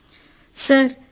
Sirisha sir